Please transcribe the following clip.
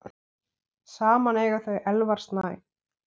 Saman eiga þau Elvar Snæ.